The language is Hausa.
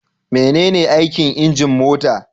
Menene aikin injin mota?